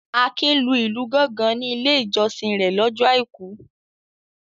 Akin lu ìlù gọ́ngọn ní Ilé-ìjọsìn rẹ̀ lọ́jọ́ àìkú.